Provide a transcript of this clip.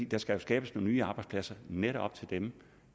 der skal skabes nogle nye arbejdspladser netop til dem